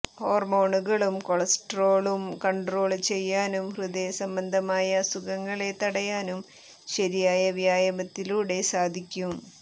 ഹോര്മോണുകളും കൊളസ്ട്രോളും കണ്ട്രോള് ചെയ്യാനും ഹൃദയ സംബന്ധമായ അസുഖങ്ങളെ തടയാനും ശരിയായ വ്യായാമത്തിലൂടെ സാധിക്കും